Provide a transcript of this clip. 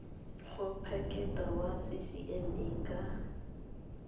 go phiketa wa ccma ka